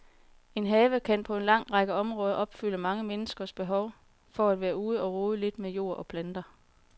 En have kan på en lang række områder opfylde mange menneskers behov for at være ude og rode lidt med jord og planter.